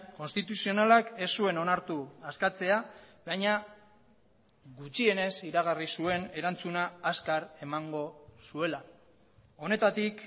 konstituzionalak ez zuen onartu askatzea baina gutxienez iragarri zuen erantzuna azkar emango zuela honetatik